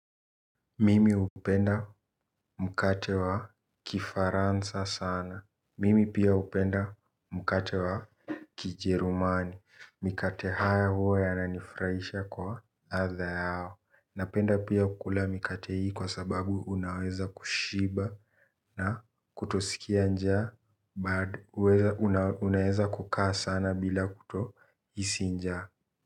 Mimi hupenda mkate wa kifaransa sana mimi pia hupenda mkate wa kijerumani mikate haya huwa yananifurahisha kwa ladha yao napenda kula mikate hii kwa sababu unaweza kushiba. Na kutosikia njaa but unaweza kukaa sana bila kutohisi njaa.